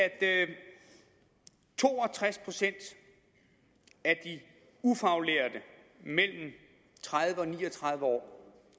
to og tres procent af de ufaglærte mellem tredive og ni og tredive år